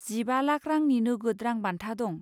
जिबा लाखा रांनि नोगोद रां बान्था दं।